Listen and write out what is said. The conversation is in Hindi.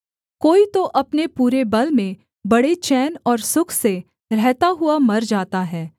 कोई तो अपने पूरे बल में बड़े चैन और सुख से रहता हुआ मर जाता है